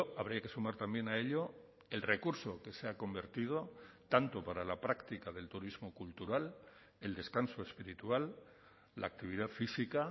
habría que sumar también a ello el recurso que se ha convertido tanto para la práctica del turismo cultural el descanso espiritual la actividad física